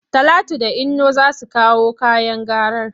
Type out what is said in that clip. Talatu da Inno za su kawo kayan garar.